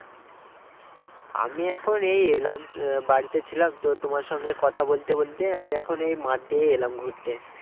আমি এখন এই এলাম উম বাড়িতে ছিলাম তো তোমার সঙ্গে কথা বলতে বলতে আমি এখন এই মাঠ দিয়ে এলাম ঘুরতে